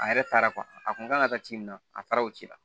A yɛrɛ taara a kun kan ka taa ci min na a taara o ci la